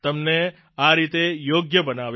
તમને આ રીતે યોગ્ય બનાવ્યા